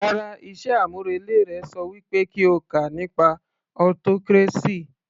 Rárá, iṣẹ́ àmúrelé rẹ ṣọ wí pé kí o kà nípa autocracy